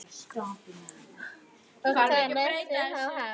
Og hvað lestu þá helst?